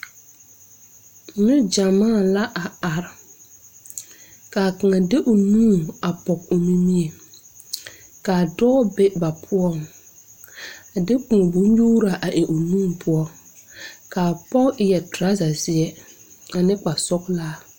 Ne gyamaa la are kaa kaŋa de o nu pɔge o nimie kaa dɔɔ be ba poɔŋ a de kõɔ bon nyuuraa a eŋ o nu poɔ kaa pɔge eŋ trɔza zeɛ ane kpasɔglaa.